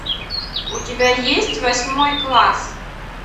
у тебя есть восьмой класс